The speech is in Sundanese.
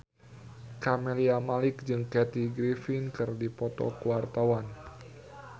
Camelia Malik jeung Kathy Griffin keur dipoto ku wartawan